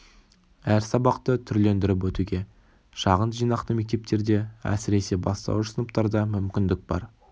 әр сабақты түрлендіріп өтуге шағын жинақты мектептерде әсіресе бастауыш сыныптарда мүмкіндік бар